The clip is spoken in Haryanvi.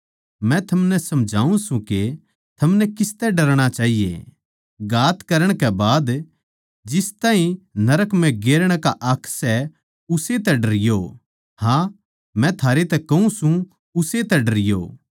मै थमनै समझाऊँ सूं के थमनै किसतै डरणा चाहिये घात करण कै बाद जिस ताहीं नरक म्ह गेरण का हक सै उस्से तै डरियो हाँ मै थारै तै कहूँ सूं उस्से तै डरियो